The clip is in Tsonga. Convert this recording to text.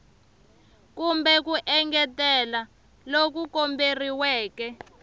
kumbe ku engetela loku komberiweke